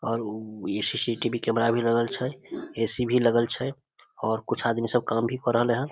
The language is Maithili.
और उ इ सी.सी.टी.वी. कैमरा भी लगल छे ए.सी. भी लगल छे और कुछ आदमी सब काम भी कर रहले हन।